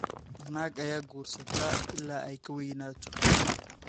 Naag ayaa guursata ilaa ay ka weynaato.